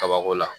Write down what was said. Kabako la